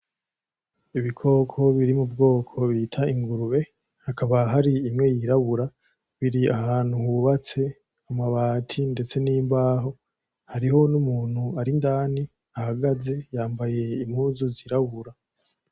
ibikoko biri mu bwoko bita ingurube hakaba hari imwe yirabura biri ahantu hubatse mu mabati ndetse n'imbaho, hariho n'umuntu ari indani ahagaze yambaye impuzu zirabura.